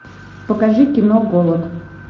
покажи кино голод